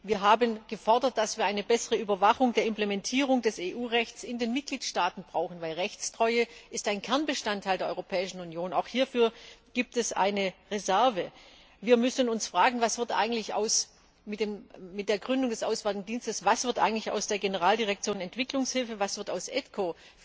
Wir haben gefordert, dass wir eine bessere Überwachung der Implementierung des EU Rechts in den Mitgliedstaaten brauchen, denn die Rechtstreue ist ein Kernbestandteil der Europäischen Union. Auch hierfür gibt es eine Reserve. Wir müssen uns fragen Was wird mit der Gründung des Auswärtigen Dienstes eigentlich aus der Generaldirektion Entwicklungshilfe, was wird aus AIDCO?